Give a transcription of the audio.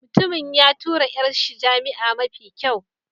Mutumin ya tura 'yar shi jami'a mafi kyau.